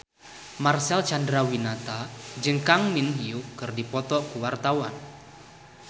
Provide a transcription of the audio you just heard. Marcel Chandrawinata jeung Kang Min Hyuk keur dipoto ku wartawan